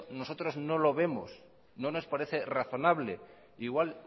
nosotros no lo vemos no nos parece razonable igual